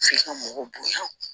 F'i ka mɔgɔ bonya